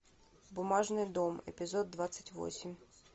бумажный дом эпизод двадцать восемь